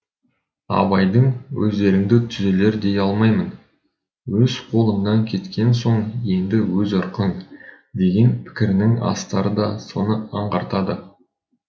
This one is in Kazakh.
абайдың өздеріңді түзелер дей алмаймын өз қолыңнан кеткен соң енді өз ырқың деген пікірінің астары да соны аңғартады